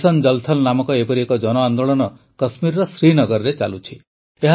mission Jal Thal ନାମକ ଏପରି ଏକ ଜନଆନ୍ଦୋଳନ କଶ୍ମୀରର ଶ୍ରୀନଗରରେ ଚାଲୁଛି